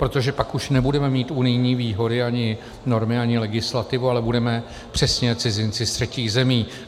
Protože pak už nebudeme mít unijní výhody, ani normy, ani legislativu, ale budeme přesně cizinci z třetích zemí.